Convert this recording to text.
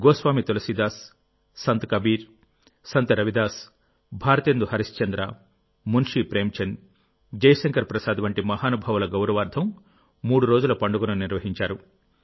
గోస్వామి తులసీదాస్ సంత్ కబీర్ సంత్ రవి దాస్ భారతేందు హరిశ్చంద్ర మున్షీ ప్రేమ్చంద్ జయశంకర్ ప్రసాద్ వంటి మహానుభావుల గౌరవార్థం మూడు రోజుల పండుగను నిర్వహించారు